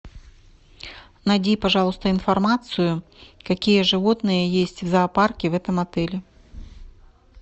найди пожалуйста информацию какие животные есть в зоопарке в этом отеле